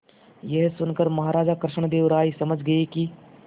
यह सुनकर महाराज कृष्णदेव राय समझ गए कि